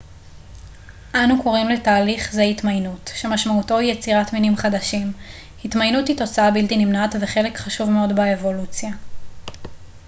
אנו קוראים לתהליך זה התמיינות שמשמעותו היא יצירת מינים חדשים התמיינות היא תוצאה בלתי נמנעת וחלק חשוב מאוד באבולוציה